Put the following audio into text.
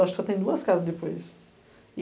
Eu acho que só tem duas casas depois.